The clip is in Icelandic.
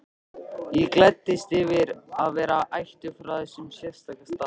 Ég gladdist yfir að vera ættuð frá þessum sérstaka stað.